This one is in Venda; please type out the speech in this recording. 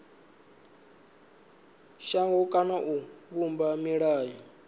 shango kana u vhumba milayo